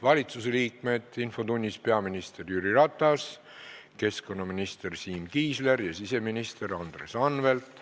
Valitsusliikmed infotunnis: peaminister Jüri Ratas, keskkonnaminister Siim Kiisler ja siseminister Andres Anvelt.